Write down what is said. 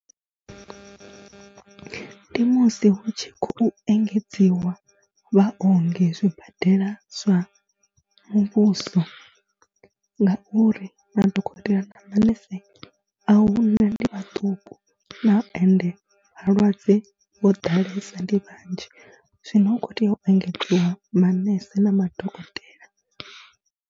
Ndi musi hu tshi khou engedziwa vhaongi zwibadela zwa muvhuso, ngauri madokotela na manese a hu na ndi vhaṱuku ende vhalwadze vho ḓalesa ndi vhanzhi, zwino hu khou tea u engedziwa manese na madokotela.